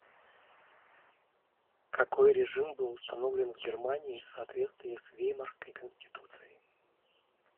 какой режим был установлен в германии в соответствии с веймарской конституцией